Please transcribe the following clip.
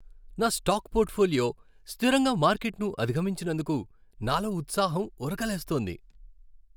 నా stock portfolio స్థిరంగా మార్కెట్ను అధిగమించినందుకు నాలో ఉత్సాహం ఉరకలేస్తోంది.